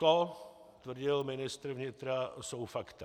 To, tvrdil ministr vnitra, jsou fakta.